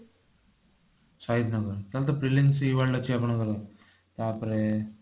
ସହିଦ ନଗର ତାହେଲେ ତ phillips e world ଅଛି ଆପଣଙ୍କର ତାପରେ